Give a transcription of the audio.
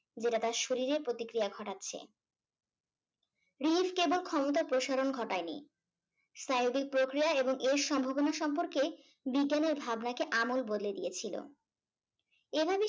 যেটা তার শরীরে প্রতিক্রিয়া ঘটাচ্ছে। কেবল ক্ষমতার প্রসারণ ঘটায়নি স্নায়বিক প্রক্রিয়া এবং এর সম্ভাবনা সম্পর্কে বিজ্ঞানের ভাবনাকে আমল বদলে দিয়েছিল। এভাবে সে